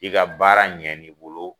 I ka baara ɲɛn n'i bolo